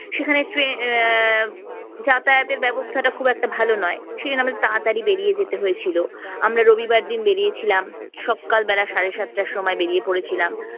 সেখানে ট্রেন আহ যাতায়াতের ব্যবস্থা খুব একটা ভালো নয় সেখানে আমাকে তাড়াতাড়ি বেরিয়ে যেতে হয়েছিল আমরা রবিবার দিন বেরিয়েছিলাম সকাল বেলা সাড়ে সাতটার সময় বেরিয়ে পড়েছিলাম